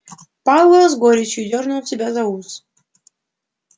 пауэлл с горечью дёрнул себя за ус